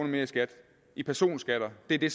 mere i skat i personskatter er det